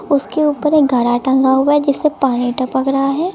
उसके ऊपर एक घड़ा टंगा हुआ है जिससे पानी टपक रहा है।